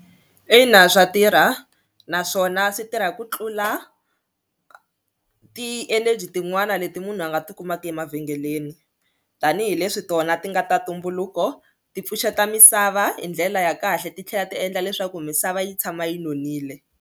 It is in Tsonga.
Ina swa tirha naswona swi tirha ku tlula ti-energy tin'wani leti munhu a nga tikumaka emavhengeleni tanihileswi tona ti nga ta ntumbuluko ti pfuxeta misava hi ndlela ya kahle titlhela ti endla leswaku misava yi tshama yi nonile.